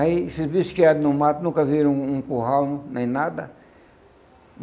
Aí esses bichos que eram no mato nunca viram um um curral, nem nada.